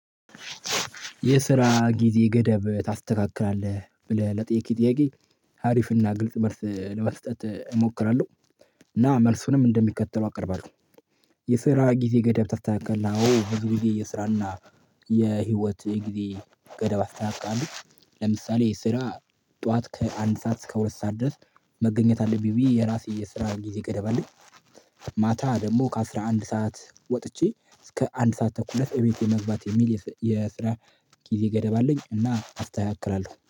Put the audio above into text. "የስራ ጊዜ ገደብ ታስተካክላለህ?" ለሚለው ጥያቄ፣ አሪፍና ግልጽ መልስ ለመስጠት እሞክራለሁ፤ እና መልሱንም እንደሚከተለው አቀርባለሁ። "የስራ ጊዜ ገደብ ታስተካክላለህ?" አዎ፣ ብዙ ጊዜ የሥራና የህይወት ጊዜ ገደብ አስተካክላለሁ፤ ለምሳሌ ስራ ጠዋት ከአንድ ሰዓት እስከ ሁለት ሰዓት ድረስ መገኘት አለብኝ ብዬ የራሴ የስራ ጊዜ ገደብ አለኝ። ማታ ደግሞ ከአሥራ አንድ ሰዓት ወጥቼ እስከ አንድ ሰዓት ተኩል እቤቴ መግባት የሚል የስራ ጊዜ ገደብ አለኝ፤ እና አስተካክላለሁ።